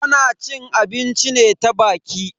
Ana cin abinci ne ta baki.